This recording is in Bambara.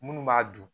Minnu b'a dun